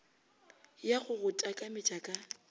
ya go go takametša ka